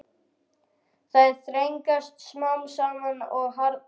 Þær þrengjast smám saman og harðna.